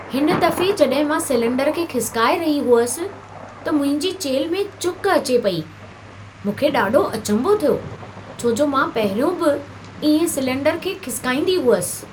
हिन दफ़े जॾहिं मां सिलेंडर खे खिसिकाए रही हुअसि, त मुंहिंजी चेल्ह में चुक अचे पेई। मूंखे ॾाढो अचंभो थियो छो जो मां पहिरियों बि इएं सिलेंडर खे खिसिकाईंदी हुअसि।